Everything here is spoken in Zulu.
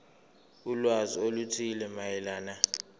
ulwazi oluthile mayelana